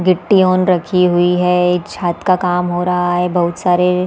गिट्टि ऑन रखी हुई हैं छत का काम हो रहा है बहुत सारे--